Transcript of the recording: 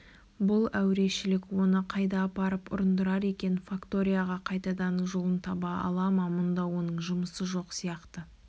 бұл әурешілік оны қайда апарып ұрындырар екен факторияға қайтадан жолын таба ала ма мұнда оның жұмысы жоқ сияқты